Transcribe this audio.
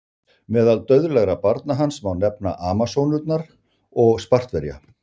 Meðal dauðlegra barna hans má nefna Amasónurnar og Spartverja.